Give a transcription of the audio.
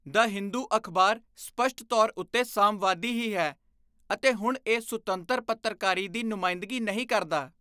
ਦ ਹਿੰਦੂ' ਅਖ਼ਬਾਰ ਸਪੱਸ਼ਟ ਤੌਰ ਉੱਤੇ ਸਾਮਵਾਦੀ ਹੀ ਹੈ ਅਤੇ ਹੁਣ ਇਹ ਸੁਤੰਤਰ ਪੱਤਰਕਾਰੀ ਦੀ ਨੁਮਾਇੰਦਗੀ ਨਹੀਂ ਕਰਦਾ।